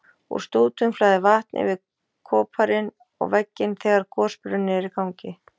Úr stútum flæðir vatn yfir koparinn og vegginn þegar gosbrunnurinn er í gangi.